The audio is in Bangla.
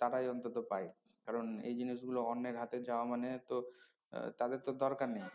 তারাই অন্তত পায় কারন এই জিনিসগুলো অন্যের হাতে যাওয়া মানে তো আহ তাদের তো দরকার নেই